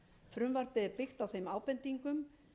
frumvarpið er byggt á þeim ábendingum